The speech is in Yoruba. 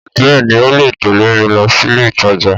Bẹ́ẹ̀ni o lè tẹ̀lẹ́ mi lọ sílé ìtajà